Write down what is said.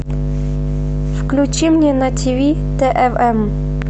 включи мне на тв твм